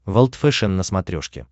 волд фэшен на смотрешке